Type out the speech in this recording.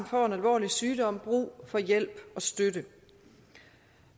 får en alvorlig sygdom brug for hjælp og støtte